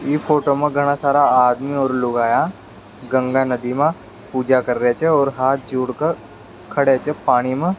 इ फोटो मा घना सारा आदमी और लुगाया गंगा नदी मा पूजा कर रिया छे और हाथ जोड़ कर खड़े छे पानी मा।